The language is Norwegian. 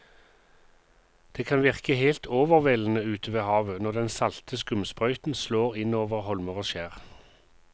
Det kan virke helt overveldende ute ved havet når den salte skumsprøyten slår innover holmer og skjær.